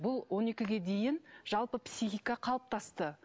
бұл он екіге дейін жалпы психика қалыптасты